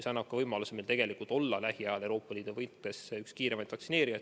See annab meile tegelikult võimaluse olla lähiajal Euroopa Liidus üks kiiremaid vaktsineerijaid.